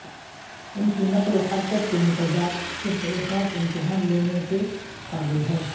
ان کی نقل و حرکت کے متضاد صرف ایک خاص امتحان لینے کے قابل ہے